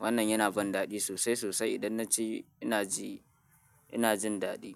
Wannan yana ban daɗi sosai sosai. Idan na ci, ina ji ina jin daɗi.